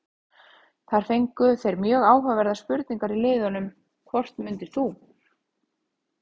Þar fengu þeir mjög áhugaverðar spurningar í liðnum: Hvort myndir þú?